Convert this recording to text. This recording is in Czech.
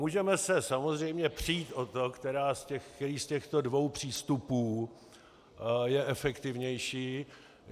Můžeme se samozřejmě přít o to, který z těchto dvou přístupů je efektivnější.